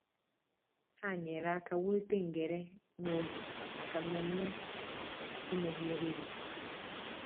Ha nyere aka wulite ngere nwa oge maka mmemme enweghị eriri.